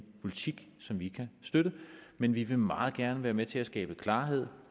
politik som vi kan støtte men vi vil meget gerne være med til at skabe klarhed